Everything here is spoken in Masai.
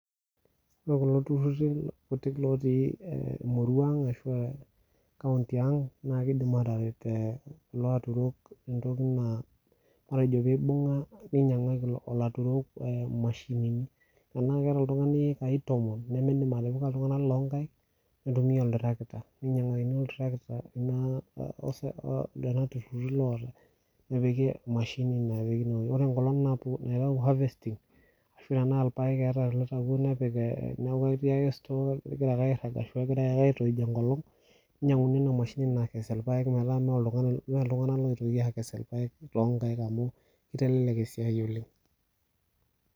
ore kulo tururi kutik lootii e eh murua ang ashua e kaunti ang naa kidim aataret ee kulo aturok tentoki naa, matejo peeibung'a ninyang'aki ilo ilaturok imashinini, tenaa keeta oltung'ani iekai tomon nimindim atipika iltung'anak loo nkaik ,nintumia ol tractor ninyang'akini ol tractor kuna ose lelo tururu lootae nepiki emashini napiki inewuei, ore enkolong napuo naitayu harvesting ashu tenaa ilpaek eeta loitawuo nepik eeh neeku ketii ake store kegira ake airag, ashu kegirae ake aitoij enkolong ninyang'uni ina mashini nakes ilpaek meeta mee oltung'ani iltung'anak loitoki aikes ilpaek tonkaik amu kitelelek esiai oleng.